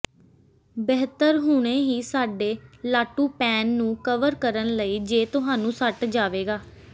ਬਿਹਤਰ ਹੁਣੇ ਹੀ ਸਾਡੇ ਲਾਟੂ ਪੈਨ ਨੂੰ ਕਵਰ ਕਰਨ ਲਈ ਜ ਤੁਹਾਨੂੰ ਸੱਟ ਜਾਵੇਗਾ